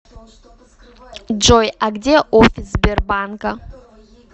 джой а где офис сбербанка